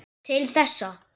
Til þessa.